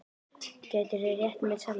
Gætirðu rétt mér saltið?